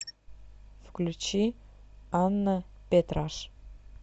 включи анна петраш